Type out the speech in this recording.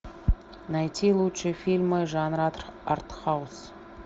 найти лучшие фильмы жанра арт хаус